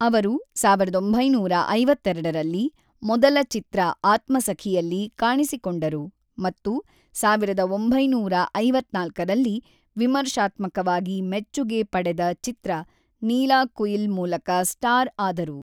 ಅವರು ಸಾವಿರದ ಒಂಬೈನೂರ ಐವತ್ತೆರಡರಲ್ಲಿ ಮೊದಲ ಚಿತ್ರ ಆತ್ಮಸಖಿಯಲ್ಲಿ ಕಾಣಿಸಿಕೊಂಡರು ಮತ್ತು ಸಾವಿರದ ಒಂಬೈನೂರ ಐವತ್ತ್ನಾಲ್ಕರಲ್ಲಿ ವಿಮರ್ಶಾತ್ಮಕವಾಗಿ ಮೆಚ್ಚುಗೆ ಪಡೆದ ಚಿತ್ರ ನೀಲಾಕುಯಿಲ್ ಮೂಲಕ ಸ್ಟಾರ್ ಆದರು.